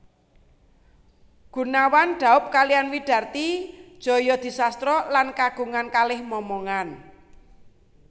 Goenawan daub kaliyan Widarti Djajadisastra lan kagungan kalih momongan